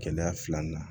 Gɛlɛya filanan